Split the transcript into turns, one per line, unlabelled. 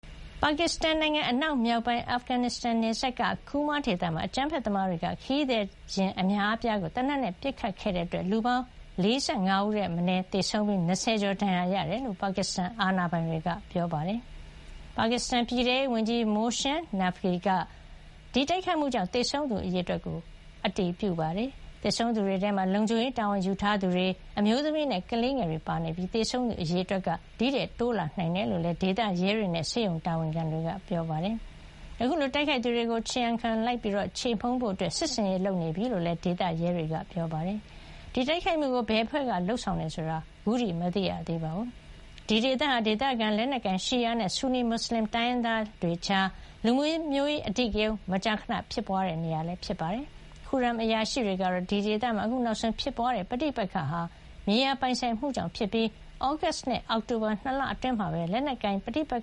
ပါကစ္စတန်နိုင်ငံ အနောက်မြောက်ပိုင်း အာဖဂန်နစ္စတန် နယ်စပ်က Kurram ဒေသမှာ အကြမ်းဖက်သမားတွေက ခရီးသည်ယာဉ် အများအပြားကို သေနတ်နဲ့ ပစ်ခတ်ခဲ့တဲ့ အတွက် လူပေါင်း ၄၅ ဦးထက်မနည်း သေဆုံးပြီး ၂၀ ကျော် ဒဏ်ရာရခဲ့တယ်လို့ ပါကစ္စတန် အာဏာပိုင် တွေက ပြောပါတယ်။ ပါကစ္စတန် ပြည်ထဲရေးဝန်ကြီး Mohsin Naqvi က လည်း ဒီတိုက်ခိုက်မှုကြောင့် သေဆုံးသူအရေအတွက် ကို အတည်ပြုပါတယ်။ သေဆုံးသူ တွေထဲမှာ လုံခြုံရေးတာဝန်ယူထားသူတွေ၊ အမျိုးသမီးနဲ့ ကလေးငယ်တွေပါ ပါဝင်နေပြီး သေဆုံးသူ အရေအတွက် တိုးလာနိုင်တယ်လို့ ဒေသရဲတွေနဲ့ ဆေးရုံတာဝန်ခံတွေက ပြောပါတယ်။ အခုလို တိုက်ခိုက်သူတွေကို ခြေရာခံလိုက်ပြီး ခြေမှုန်းဖို့ စစ်ဆင်ရေးလုပ်နေပြီလို့ ဒေသ ရဲတွေက ပြောပါတယ်။ ဒီတိုက်ခိုက်မှုကို ဘယ်အဖွဲ့က လုပ်ဆောင်တယ် ဆိုတာ အခုထိ မသိရသေးပါဘူး။ ဒီဒေသဟာ ဒေသခံ လက်နက်ကိုင် ရှီယာ နဲ့ ဆူနီ မွတ်စလင် တိုင်းရင်းသားတွေကြား လူမျိုးရေး အဓိကရုန်း မကြာမကြာ ဖြစ်ပွါးတဲ့နေရာလည်း ဖြစ်ပါတယ်။ Kurram အရာရှိတွေကတော့ ဒီဒေသမှာ အခုနောက်ဆုံး ဖြစ်ပွါးတဲ့ ပဋိပက္ခဟာ မြေယာ ပိုင်ဆိုင်မှုကြောင့် ဖြစ်ပြီး သြဂုတ်လနဲ့ အောက်တိုဘာ ၂ လအတွင်း လက်နက်ကိုင် ပဋိပက္